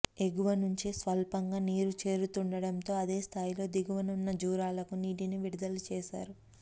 ఎగువ నుంచి స్వల్పంగా నీరు చేరుతుండడం తో అదే స్థాయిలో దిగువన ఉన్న జూరాలకు నీ టిని విడుదల చేశారు